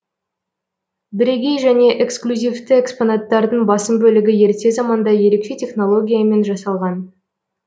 бірегей және эксклюзивті экспонаттардың басым бөлігі ерте заманда ерекше технологиямен жасалған